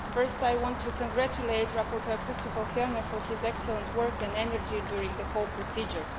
First, I want to congratulate rapporteur Christofer Fjellner for his excellent work and energy during the whole procedure.